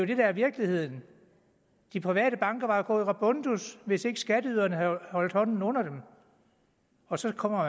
det der er virkeligheden de private banker var jo gået rabundus hvis ikke skatteyderne havde holdt hånden under dem og så kommer